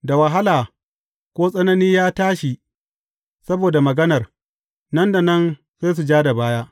Da wahala ko tsanani ya tashi saboda maganar, nan da nan, sai su ja da baya.